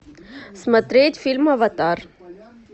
смотреть фильм аватар